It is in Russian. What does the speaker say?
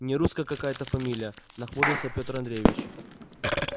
нерусская какая-то фамилия нахмурился пётр андреевич